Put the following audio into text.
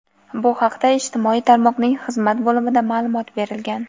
Bu haqda ijtimoiy tarmoqning xizmat bo‘limida ma’lumot berilgan.